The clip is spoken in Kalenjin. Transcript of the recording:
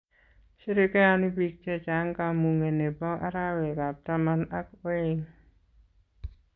Sherekeoni biik che chang kamung'e ne bo arawekab taman ak oeng.